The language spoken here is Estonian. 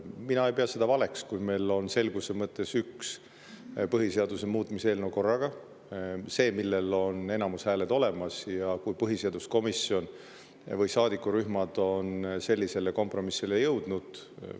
Mina ei pea seda valeks, kui meil on selguse mõttes üks põhiseaduse muutmise eelnõu korraga, see, millel on enamushääled olemas, kui põhiseaduskomisjon või saadikurühmad on sellisele kompromissile jõudnud.